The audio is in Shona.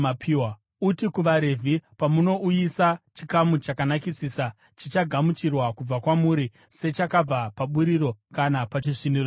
“Uti kuvaRevhi: ‘Pamunouyisa chikamu chakanakisisa, chichagamuchirwa kubva kwamuri sechakabva paburiro kana pachisviniro chewaini,